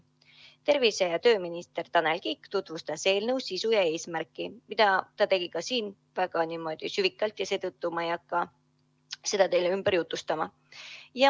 Tervise- ja tööminister Tanel Kiik tutvustas eelnõu sisu ja eesmärki, mida ta tegi ka täna väga südikalt, ja seetõttu ma ei hakka seda teile ümber jutustama.